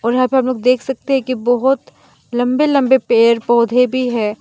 और यहाँ पे आप लोग देख सकते है कि बहोत लंबे लंबे पेड़ पौधे भी है।